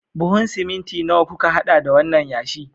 Buhun siminti nawa kuka hada da wannan yashi?